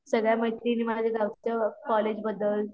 सगळ्या मैत्रिणी मला जे गावच्या कॉलेज बद्दल